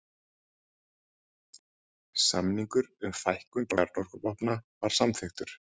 Samningur um fækkun kjarnorkuvopna samþykktur